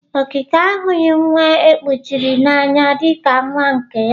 Okeke ahụghị nwa e kuchiri n'anya dị ka nwa nke ya.